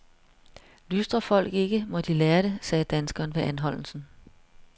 Lystrer folk ikke, må de lære det, sagde danskeren ved anholdelsen.